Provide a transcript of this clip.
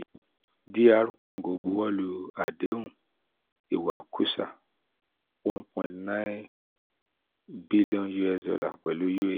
dr congo buwọ lu adehun iwakusa one point nine billion us dollar pẹlu